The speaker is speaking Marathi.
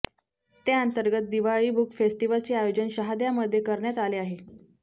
त्याअंतर्गत दिवाळी बुक फेस्टिव्हलचे आयोजन शहाद्यामध्ये करण्यात आले आहे